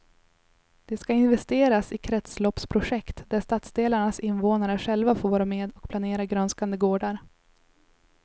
Det ska investeras i kretsloppsprojekt där stadsdelarnas invånare själva får vara med och planera grönskande gårdar.